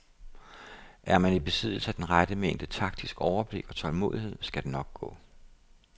Er man i besiddelse af den rette mængde taktisk overblik og tålmodighed, skal det nok gå.